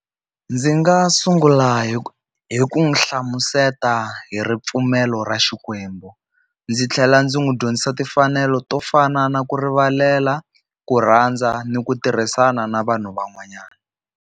Ndzi nga sungula hi hi ku n'wu hlamuseta hi ripfumelo ra Xikwembu, ndzi tlhela ndzi n'wi dyondzisa timfanelo to fana na ku rivalela, ku rhandza ni ku tirhisana na vanhu van'wanyana.